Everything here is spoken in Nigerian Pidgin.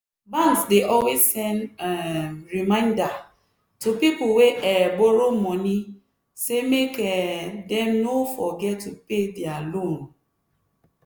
banks dey always send um reminder to people wey um borrow money say make um dem no forget to pay back dia loan.